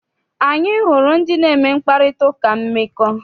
Anyị hụrụ ndị na-eme mkparitauka mmekọ.